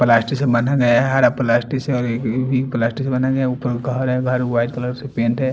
Plastic से बांहा गया है। हरा प्लास्टिक से ओर ये ग्रीन प्लास्टिक से बनाया गया है ऊपर घर है घर व्हाइट कलर से पेंट है।